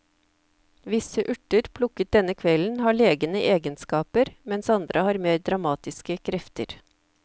Visse urter plukket denne kvelden har legende egenskaper, mens andre har mer dramatiske krefter.